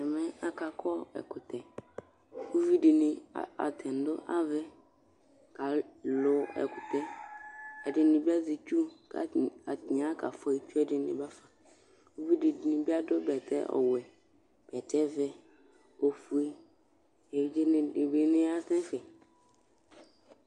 ɔvidini akaluɔ ɛkutɛ eɖiŋi du avɛ uvidibi adu bɛtɛ vɛ, ofue